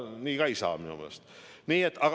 Nii ka minu meelest ei saa.